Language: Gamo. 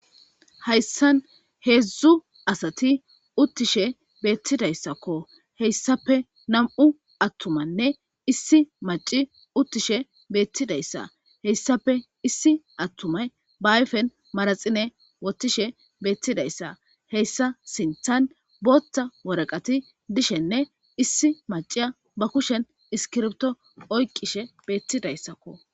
Hayssan heedzdzu asati uttishe beettidayssakko heyssape nam7u attumanne issi maci uttishe beettidayssa heyssape issi attumay baayfen maraxine wotishe beettidayssa heyssa sinthan bootta woraqati dishenne issi macia ba kushen iskirbto oyqishe beettidayssakko.